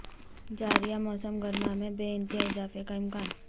جاریہ موسم گرما میں بے انتہا اضافہ کا امکان